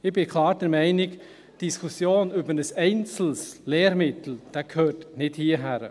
Ich bin klar der Meinung, die Diskussion über ein einzelnes Lehrmittel gehöre nicht hierhin.